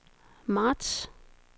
marts